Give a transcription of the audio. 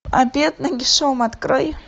обед нагишом открой